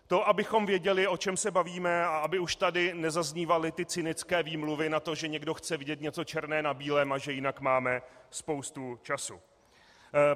To abychom věděli, o čem se bavíme, a aby už tady nezaznívaly ty cynické výmluvy na to, že někdo chce vidět něco černého na bílém a že jinak máme spoustu času.